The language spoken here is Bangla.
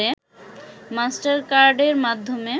মাস্টারকার্ডের মাধ্যমে